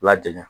Lajɛngɛ